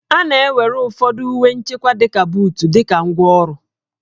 A na-ewere ụfọdụ uwe nchekwa dịka buut dị ka ngwá ọrụ